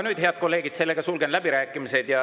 Nüüd, head kolleegid, sulgen läbirääkimised.